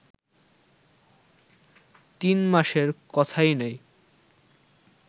তিন মাসের কথাই নাই